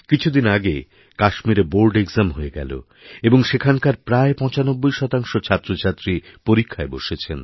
কিছুদিন আগে কাশ্মীরে বোর্ড এক্জাম হয়ে গেল এবংসেখানকার প্রায় ৯৫ ছাত্রছাত্রী পরীক্ষায় বসেছেন